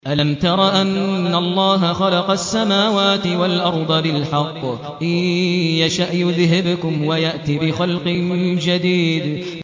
أَلَمْ تَرَ أَنَّ اللَّهَ خَلَقَ السَّمَاوَاتِ وَالْأَرْضَ بِالْحَقِّ ۚ إِن يَشَأْ يُذْهِبْكُمْ وَيَأْتِ بِخَلْقٍ جَدِيدٍ